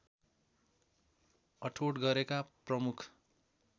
अठोट गरेका प्रमुख